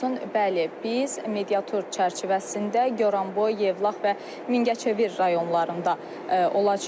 Bəli, biz mediator çərçivəsində Goranboy, Yevlax və Mingəçevir rayonlarında olacağıq.